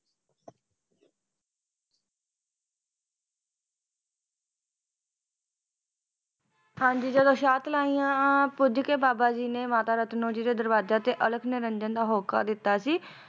ਹਾਂਜੀ ਜਦੋ ਸ਼ਾਹਤਲਾਈਆਂ ਪੁੱਜ ਕੇ ਬਾਬਾ ਜੀ ਨੇ ਰਤਨੋ ਜੀ ਦੇ ਦਰਵਾਜੇ ਤੇ ਅਲਖ ਨਿਰੰਜਨ ਦਾ ਹੋਕਾ ਦਿੱਤਾ ਸੀ